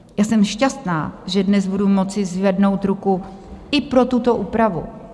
Já jsem šťastná, že dnes budu moci zvednout ruku i pro tuto úpravu.